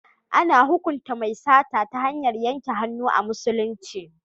A na hukunta mai sata ta hanyar yanke hannu a musulunci.